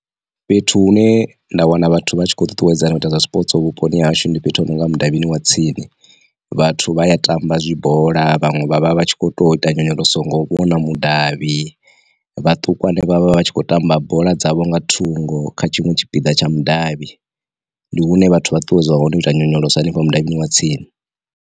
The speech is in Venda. Fhethu hune nda wana vhathu vha tshi khou ṱuṱuwedzana miṱa zwa zwipotso vhuponi hashu ndi fhethu hononga mudavhini wa tsini, vhathu vha ya tamba zwi bola, vhaṅwe vha vha vha tshi kho to ita nyonyoloso ngo vhona mudavhi, vhaṱukwane vhavha vha tshi khou tamba bola dzavho nga thungo kha tshinwe tshipiḓa tsha mudavhi, ndi hune vhathu vha ṱuṱuwedzwana hone ita nyonyolosa henefho mudavhini wa tsini.